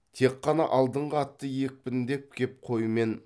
тек қана алдыңғы атты екпіндеп кеп қой мен